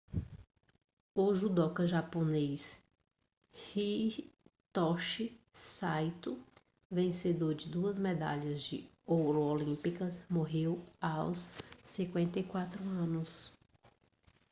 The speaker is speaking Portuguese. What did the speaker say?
o judoca japonês hitoshi saito vencedor de duas medalhas de ouro olímpicas morreu aos 54 anos